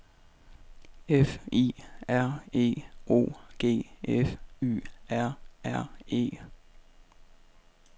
F I R E O G F Y R R E